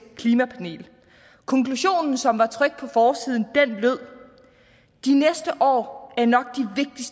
klimapanel konklusionen som var trykt på forsiden lød de næste år er nok